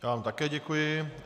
Já vám také děkuji.